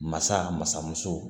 Masa masamusow